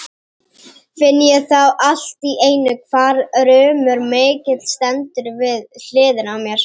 Finn ég þá allt í einu hvar rumur mikill stendur við hliðina á mér.